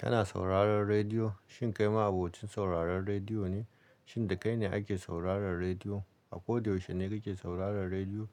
Kana sauraron rediyo, shin kai ma abokin sauraron rediyo ne? Shin da kai ne ake sauraron rediyo? Ba ko da yaushe ne kake sauraron rediyo,